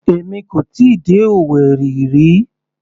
Èmi kò tíì dé Owerri rí.